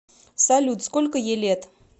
салют сколько ей лет